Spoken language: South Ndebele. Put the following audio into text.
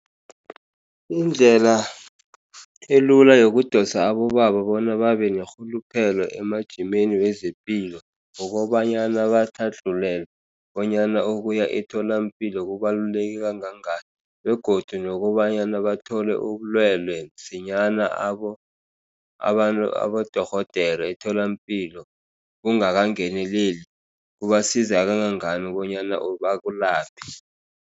Indlela elula yokudosa abobaba bona babe nerhuluphelo emajimeni wezepilo. Ngokobanyana batlhadlulelwe bonyana ukuyemtholampilo kubaluleke kangangani, begodu nokobanyana bathole ubulwelwe msinyana abo abantu, abadorhodere emtholampilo bungakangenileli kubasiza kangangani bonyana bakulaphe.